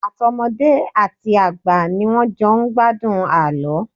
Àtọmọdé àti àgbà ni wọ́n jọ ń gbádùn àlọ́.